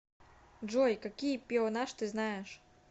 джой какие пеонаж ты знаешь